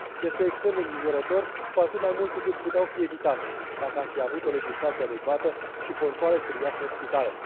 Este extrem de îngrijorător, cu atât mai mult cu cât puteau fi evitate, dacă am fi avut o legislație adecvată și controale serioase în spitale.